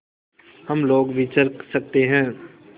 हम लोग विचर सकते हैं